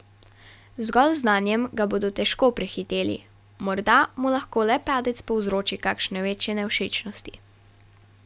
Zgolj z znanjem ga bodo težko prehiteli, morda mu lahko le padec povzroči kakšne večje nevšečnosti.